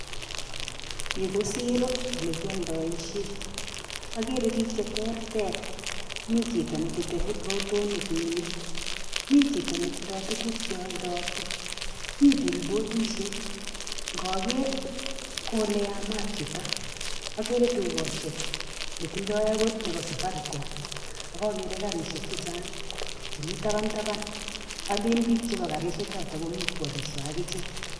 Yu ko siiro ole kialdoishen. Agere biik che terter; mi chito nelite rotonik en yu, mi chito netitindoi tuguk che oldoti, mi billboardishek. Nkoger, ko ole yamaat yutok. Agere dukoshek netindoi agot nebo Safaricom. Ak ogere garishek chechang' chemi taban taban. Olen biik chepo garishekchoto komii ko alisiei akichek.